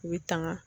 U bɛ tanga